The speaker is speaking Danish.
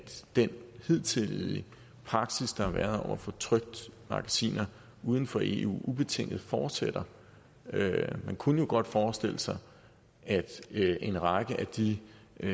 den hidtidige praksis der har været for trykte magasiner uden for eu ubetinget fortsætter man kunne jo godt forestille sig at en række af de